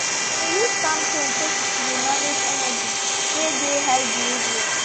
they been use calm tone take dey manage energy wey dey high behaviour